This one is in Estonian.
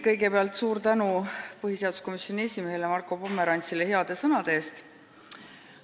Kõigepealt suur tänu põhiseaduskomisjoni esimehele Marko Pomerantsile heade sõnade eest!